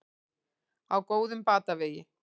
Á góðum batavegi